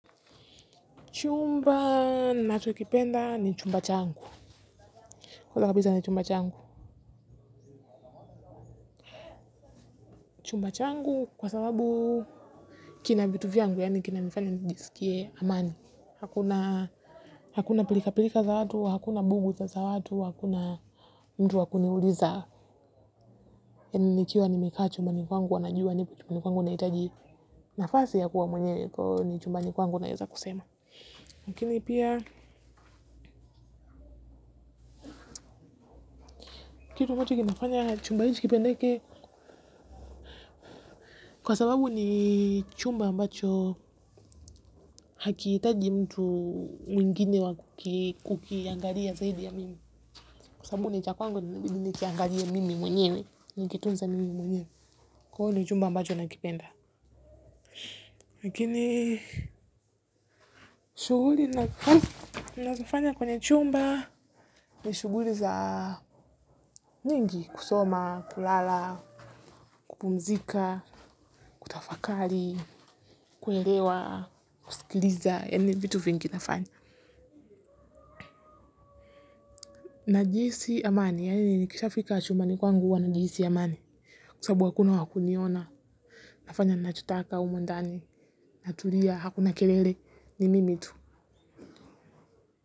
Chumba nacho kipenda ni chumba changu, kwa sababu hizaa ni chumba changu, yangu yaani kina nifanya nijisikie amani. Hakuna pilika pilika za watu, hakuna bugu za za watu, hakuna mtu wakuni uliza. Eni nikiwa nimekaa chumbani kwangu, wanajua nipo chumbani kwangu na hitaji nafasi ya kuwa mwenyewe ni chumbani kwangu naweza kusema lakini pia kitu ambacho kinafanya chumba hichi kipendeke kwa sababu ni chumba ambacho hakiitaji mtu mwingine wa kukiangalia zaidi ya mimi. Kwa sababu ni cha kwangu inabidi nikiangalie mimi mwenyewe nikitunze mimi mwenyewe. Kwao ni chumba ambacho nakipenda. Lakini shuguli nazo fanya kwenye chumba ni shuguri za nyingi kusoma, kulala, kupumzika, kutafakari. Kuelewa kusikiliza yaani vitu vingi nafanya. Na jihisi amani, yaeli nikishafika chumbani kwangu huwa na jihisi amani. Kwasabu hakuna wakuniona, nafanya na chotaka humu ndani, na tulia, hakuna kelele ni mimi tu.